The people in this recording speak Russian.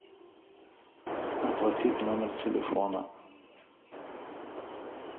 оплатить номер телефона